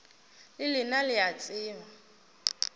le lena le a tseba